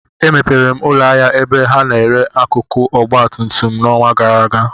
Emepere m ụlọ ahịa ebe ha na-ere akụkụ ọgba tum tum n'ọnwa gara aga